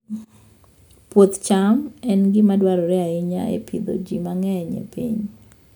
Puoth cham en gima dwarore ahinya e pidho ji mang'eny e piny.